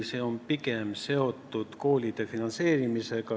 See on pigem seotud koolide finantseerimisega.